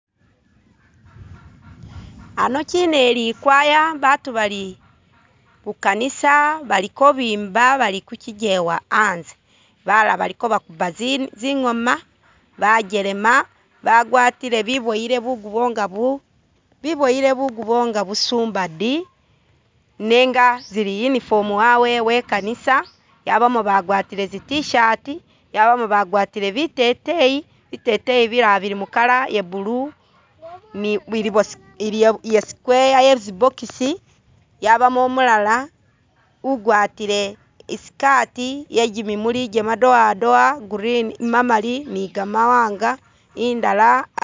Ano kine eli choir batu bali mukanisa bali ko bimba bali ku chigewa anze balala bali ko bakuba zi zingooma, bakelema bagwatile biboyile bugubo nga bu biboyile bugubo nga busumbadi nenga zili uniform wawe wekanisa, yabamo bagwatile zi t-shirt, yabamo bagwatile biteteyi, biteteyi bilala bili mu Colo ya blue ni bi ili square ye tsi box, yabamo umulala agwatile I'skati ye jimimuli jamadowadowa green mamali ni gamawaanga indala